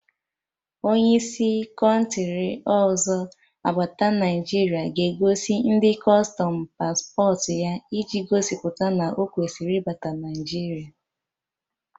Onye si kọntri ọzọ abata Naijiria ga-egosi ndị kustọm pasporti ya, iji gosipụta na o kwesịrị ịbata Naịjiria